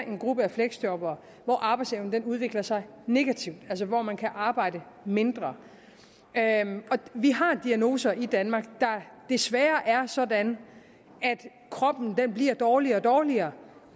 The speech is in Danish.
en gruppe af fleksjobbere hvor arbejdsevnen udvikler sig negativt altså hvor man kan arbejde mindre vi har diagnoser i danmark der desværre er sådan at kroppen bliver dårligere og dårligere